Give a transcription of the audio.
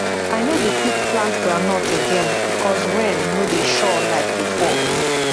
i no dey quick plant groundnut again because rain no dey sure like before